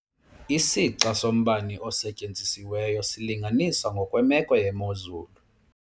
Isixa sombane osetyenzisiweyo silinganiswa ngokwemeko yemozulu.